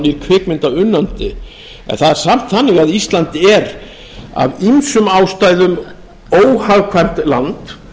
nýr kvikmyndaunnandi að það er samt þannig að ísland er af ýmsum ástæðum óhagkvæmt land